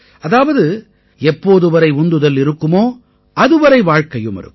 அதாவது எப்போது வரை உந்துதல் இருக்குமோ அதுவரை வாழ்க்கையும் இருக்கும்